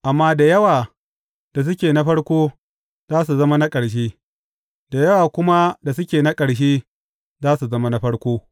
Amma da yawa da suke na farko, za su zama na ƙarshe, da yawa kuma da suke na ƙarshe, za su zama na farko.